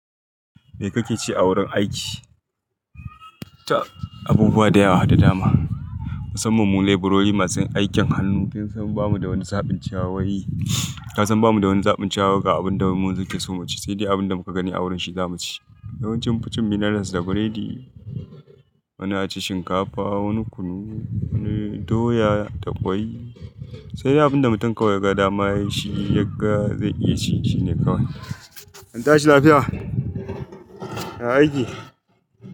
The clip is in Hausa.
Me kake ci a wurin aiki? Ta abubuwa da yawa, da dama. Musamman mu leberori masu aikin hannu kin san bamu da wani zaɓin cewa. Wai Ka san bamu da wani zaɓin cewa ga abun da mu ke so mu ci. Sai dai abin da muka gani a wurin shi zamu ci. Yawanci mun fi cin minerals da bread. Wani a ci shinkafa, wani kunu, wani doya da kwai. Sai dai abin da mutum kawai ya ga dama shi ya ga zai iya ci shi ne kawai. Anta shi lafiya. Ya aiki.